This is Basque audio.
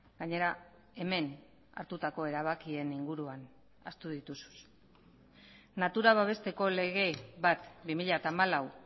gainera hemen hartutako erabakien inguruan ahaztu dituzu natura babesteko lege bat bi mila hamalau